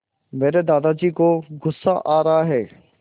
मेरे दादाजी को गुस्सा आ रहा है